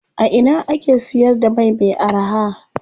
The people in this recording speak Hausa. A ina ake siyar da mai me araha?